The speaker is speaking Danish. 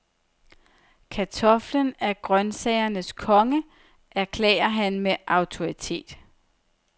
Kartoflen er grønsagernes konge, erklærer han med autoritet.